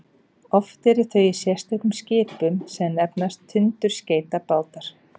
oft eru þau í sérstökum skipum sem nefnast tundurskeytabátar